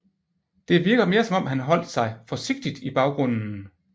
Det virker mere som om han holdt sig forsigtigt i baggrunden